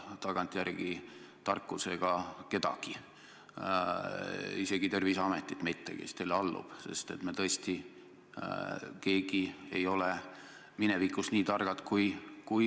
Aitäh küsimuse eest!